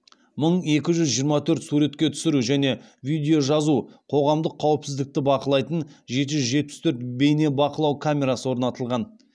мың екі жүз жиырма төрт суретке түсіру және видео жазу қоғамдық қауіпсіздікті бақылайтын жеті жүз жетпіс төрт бейнебақылау камерасы орнатылған